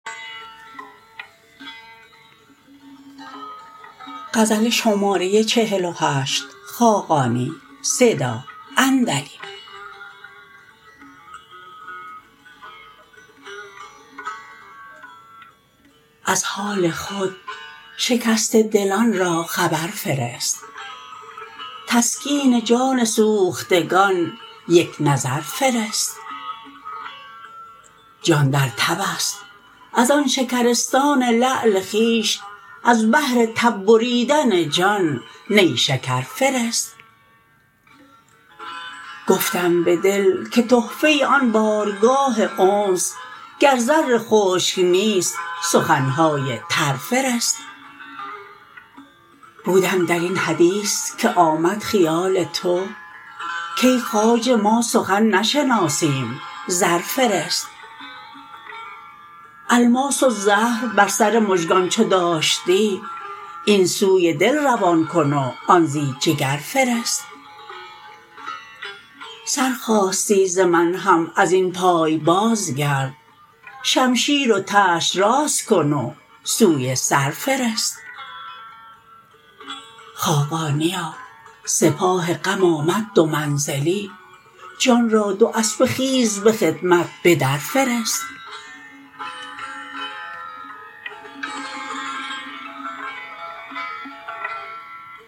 از حال خود شکسته دلان را خبر فرست تسکین جان سوختگان یک نظر فرست جان در تب است از آن شکرستان لعل خویش از بهر تب بریدن جان نیشکر فرست گفتم به دل که تحفه آن بارگاه انس گر زر خشک نیست سخن های تر فرست بودم در این حدیث که آمد خیال تو کای خواجه ما سخن نشناسیم زر فرست الماس و زهر بر سر مژگان چو داشتی این سوی دل روان کن و آن زی جگر فرست سر خواستی ز من هم ازین پای باز گرد شمشیر و تشت راست کن و سوی سر فرست خاقانیا سپاه غم آمد دو منزلی جان را دو اسبه خیز به خدمت به در فرست